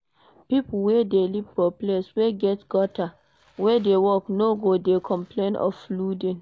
Pipo wey dey live for place wey get gutter wey dey work no go de complain of flooding